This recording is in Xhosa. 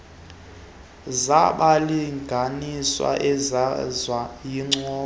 zabalinganiswa zivezwa yincoko